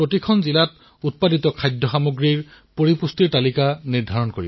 এতিয়া যেনেকৈ মিলেটগোটা শস্যৰাদী জোৱাৰ এয়া অতিশয় পুষ্টিদায়ক খাদ্য